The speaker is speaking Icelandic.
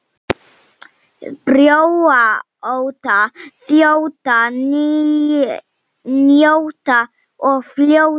Brjóta, þjóta, njóta og fljóta.